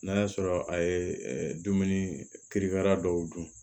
N'a y'a sɔrɔ a ye dumuni kiri dɔw dun